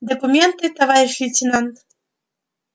документы товарищ лейтенант